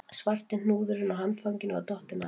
Svarti hnúðurinn á handfanginu var dottinn af